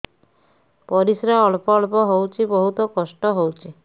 ପରିଶ୍ରା ଅଳ୍ପ ଅଳ୍ପ ହଉଚି ବହୁତ କଷ୍ଟ ହଉଚି